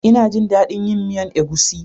Ina jin dadin yin miyan egusi.